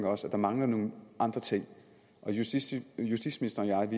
også mangler nogle andre ting og justitsministeren